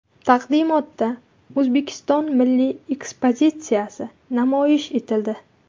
Taqdimotda O‘zbekiston milliy ekspozitsiyasi namoyish etildi.